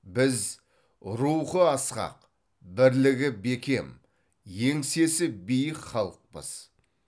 біз рухы асқақ бірлігі бекем еңсесі биік халықпыз